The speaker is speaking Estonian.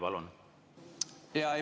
Palun!